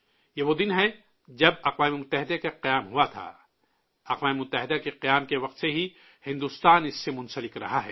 یہ وہ دن ہے جب اقوام متحدہ کا قیام عمل میں آیا تھا، اقوام متحدہ کے قیام کے وقت سے ہی بھارت اس سے جڑا رہا ہے